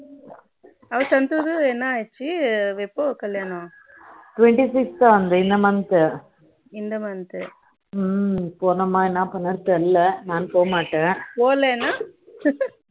அவன் சந்தோஷ் கு என்ன ஆச்சு எப்போ கல்யாணம் twenty six த இந்த month இந்த month போணுமா என்ன பண்றதுன்னு தெரியல நான் போக மாட்டேன் போக்களின